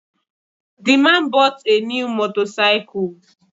The man bought a new motorcycle